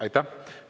Aitäh!